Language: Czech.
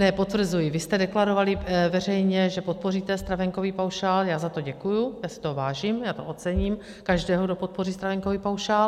Ne, potvrzuji, vy jste deklarovali veřejně, že podpoříte stravenkový paušál, já za to děkuji, já si toho vážím, já to ocením, každého, kdo podpoří stravenkový paušál.